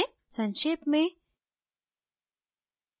संक्षेप में